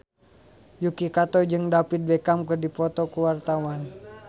Yuki Kato jeung David Beckham keur dipoto ku wartawan